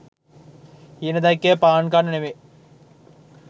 හීන දැක්කෙ පාන් කන්න නෙමෙයි.